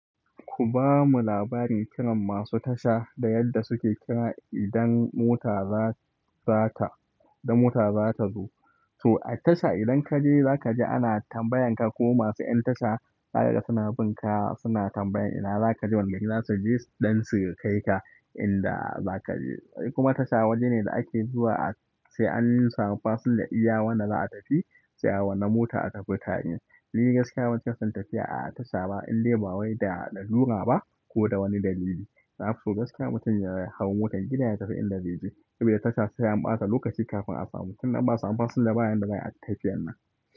Ku bamu labarin kiran masu tasha da yadda suke kira idan mota za ta zo. To a tasha idan kaje zaka ji ana tambayan ka ko masu 'yan tasha daga suna bin ka suna tambayan ina zaka je wanne gida za su gaishe ɗan su kai ka inda za kaje. Kuma tasha waje ne da ake zuwa sai an samu fasinja iya wanda za a tafi sai a wanna mota a tafi tare. Ni gaskiya ban chika son tafiya a tasha ba indai ba wai da lalura ba ko da wani dalili. Na fi son gaskiya mutum ya hau motar gida ya tafi inda zai je. Saboda tasha sai an bata lokaci kafin a samu. Tun nan ba su samu fasinja bayan da na yi tafiyar nan.